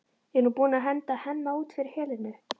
Er hún búin að henda Hemma út fyrir Helenu?